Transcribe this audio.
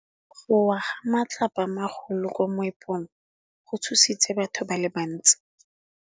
Go wa ga matlapa a magolo ko moepong go tshositse batho ba le bantsi.